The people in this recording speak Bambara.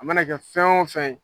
A ma na kɛ fɛn o fɛn ye